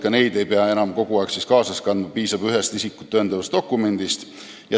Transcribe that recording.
Ka neid ei pea enam kogu aeg kaasas kandma, piisab ühest isikut tõendavast dokumendist.